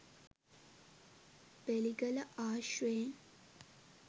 බෙලිගල ආශ්‍රයෙන්